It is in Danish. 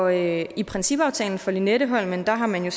i i principaftalen for lynetteholmen har man